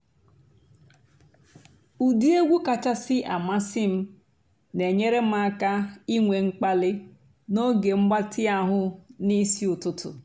ụ́dị́ ègwú kàchàsị́ àmásị́ m nà-ènyééré m àká ìnwé m̀kpàlí n'óge m̀gbàtị́ àhú́ n'ìsí ụ́tụtụ́.